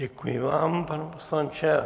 Děkuji vám, pane poslanče.